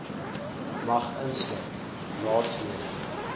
mag insluit raadslede